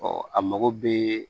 Ɔ a mago bɛ